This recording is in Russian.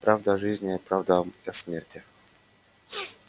правда о жизни и правда о смерти